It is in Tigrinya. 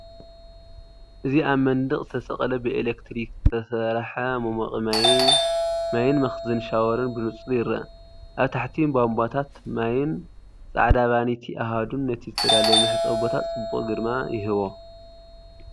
እዚ ኣብ መንደቕ ዝተሰቕለ ብኤሌክትሪክ ዝተሰርሐ መሞቒ ማይን መኽዘን ሻወርን ብንጹር ይርአ። ኣብ ታሕቲ፡ ቧንቧታት ማይን ጻዕዳ ቫኒቲ ኣሃዱን ነቲ ዝተዳለወ መሕጸቢ ቦታ ፅበቅ ግርማ ይህቦ።